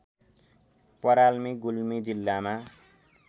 पराल्मी गुल्मी जिल्लामा